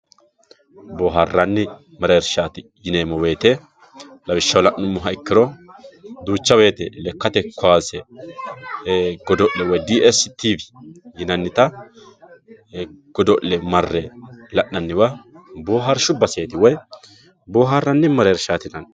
booharranni mereershshaati yineemmo woyte lawishshaho la'nummoha ikkiro duucha woyte lekkate kaase godo'le woy dstv yinannita godo'le marre la'nannita booharshsha woy booharanni mereershshaati yinanni